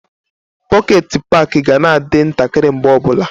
Pọket paki ga na-adị ntakịrị mgbe ọbụla.